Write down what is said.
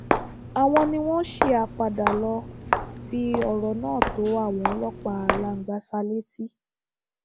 àwọn ni wọn ṣí apádà lọọ fi ọrọ náà tó àwọn ọlọpàá langbasa létí